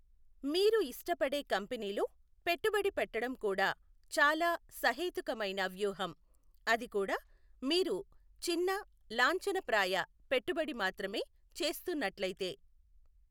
మీరు ఇష్టపడే కంపెనీలో పెట్టుబడి పెట్టడం కూడా చాలా సహేతుకమైన వ్యూహం, అదికూడా మీరు చిన్న, లాంఛనప్రాయ పెట్టుబడి మాత్రమే చేస్తున్నట్లయితే.